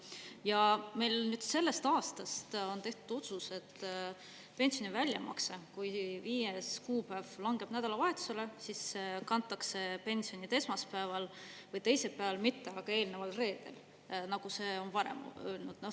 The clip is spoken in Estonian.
Ja meil nüüd sellest aastast on tehtud otsus, et pensioni väljamakse, kui viies kuupäev langeb nädalavahetusele, siis kantakse pensionid esmaspäeval või teisipäeval, mitte aga eelneval reedel, nagu see on varem öelnud.